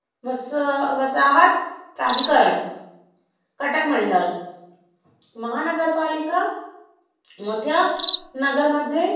वसाहतीकरण, कटक मंडळ. महानगरपालिका मोठ्या नगरमध्ये